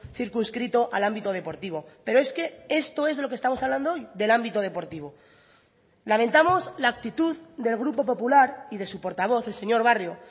circunscrito al ámbito deportivo pero es que esto es lo que estamos hablando hoy del ámbito deportivo lamentamos la actitud del grupo popular y de su portavoz el señor barrio